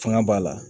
Fanga b'a la